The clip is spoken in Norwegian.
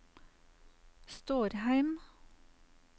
Stårheim